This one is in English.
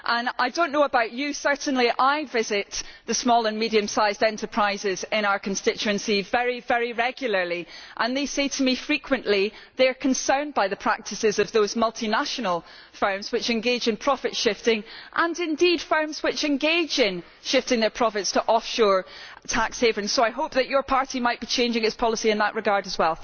I do not know about you, but certainly I visit the small and medium-sized enterprises in our constituency very regularly and they say to me frequently that they are concerned by the practices of those multinational firms which engage in profit-shifting and, indeed, firms which engage in shifting their profits to offshore tax havens, so I hope that your party might be changing its policy in that regard as well.